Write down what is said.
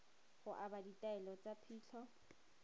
go aba ditaelo tsa phitlho